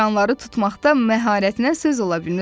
siçanları tutmaqda məharətinə söz ola bilməz.